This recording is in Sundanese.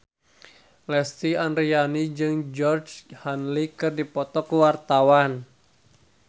Lesti Andryani jeung Georgie Henley keur dipoto ku wartawan